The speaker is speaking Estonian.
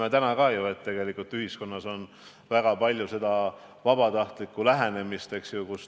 Me näeme ju täna, et tegelikult ühiskonnas on väga palju vabatahtlikku abi andmist.